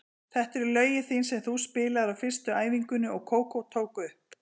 Þetta eru lögin þín sem þú spilaðir á fyrstu æfingunni og Kókó tók upp.